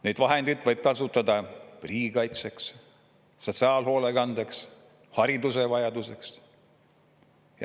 Neid vahendeid võiks kasutada riigikaitseks, sotsiaalhoolekandeks, hariduse vajadusteks.